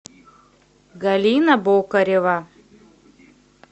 галина бокарева